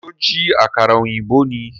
Ṣó jí àkàrà ọ̀yìnbó ni?